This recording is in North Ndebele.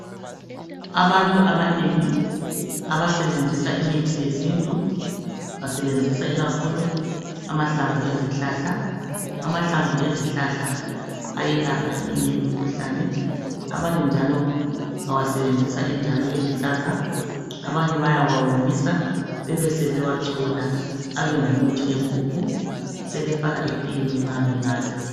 Abantu abanengi abasebenzisa imithi yesintu basebenzisa ikakhulu amahlamvu ezihlahla , amahlamvu ezihlahla elapha eminye imkhuhlane , abanye njalo bawasebenzisa njalo eluhlaza abanye bayawawomisa bebesebewachola abe ngumuthi wempuphu , sebefaka etiyeni nxa benatha